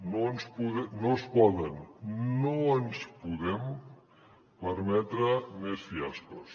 no es poden no ens podem permetre més fiascos